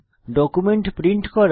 document print করা